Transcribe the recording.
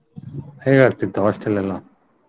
ಹೇಗ್ ಆಗ್ತಿತ್ತು hostel ಎಲ್ಲಾ?